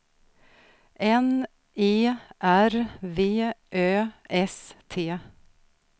N E R V Ö S T